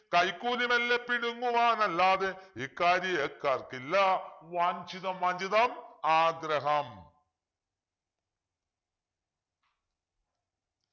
കൈക്കൂലി മെല്ലെപ്പിടുങ്ങുവാനല്ലാതെ ഇക്കാരിയക്കാർക്കില്ല വാഞ്ഛിതം വാഞ്ഛിതം ആഗ്രഹം